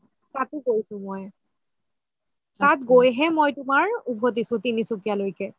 তাতও গৈছো মই তাত গৈ হে মই উভতিছো মই তিনসুকিয়ালে